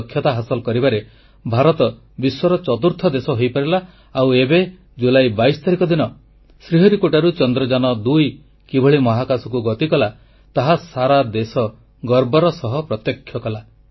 ଏହି ଦକ୍ଷତା ହାସଲ କରିବାରେ ଭାରତ ବିଶ୍ୱର ଚତୁର୍ଥ ଦେଶ ହୋଇପାରିଲା ଆଉ ଏବେ ଜୁଲାଇ 22 ତାରିଖ ଦିନ ଶ୍ରୀହରିକୋଟାରୁ ଚନ୍ଦ୍ରଯାନ2 କିଭଳି ମହାକାଶକୁ ଗତି କଲା ତାହା ସାରା ଦେଶ ଗର୍ବର ସହ ପ୍ରତ୍ୟକ୍ଷ କଲା